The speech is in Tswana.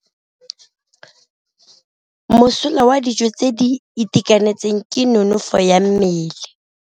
Mosola wa dijô tse di itekanetseng ke nonôfô ya mmele.